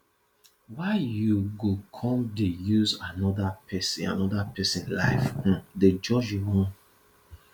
why you go come dey use anoda pesin anoda pesin life um dey judge your own